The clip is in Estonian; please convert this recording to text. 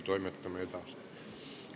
Kohaloleku kontroll, palun!